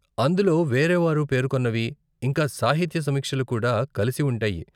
అందులో వేరేవారు పేర్కొన్నవి, ఇంకా సాహిత్య సమీక్షలు కూడా కలిసి ఉంటాయి.